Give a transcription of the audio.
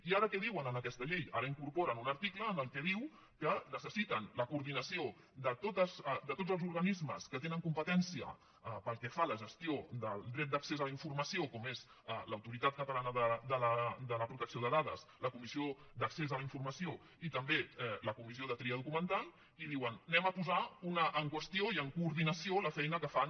i ara què diuen en aquesta llei ara hi incorporen un article en què diu que necessiten la coordinació de tots els organismes que tenen competència pel que fa a la gestió del dret d’accés a la informació com és l’autoritat catalana de protecció de dades la comissió d’accés a la informació i també la comissió de tria documental i diuen anem a posar ne una en qüestió i en coordinació la feina que fan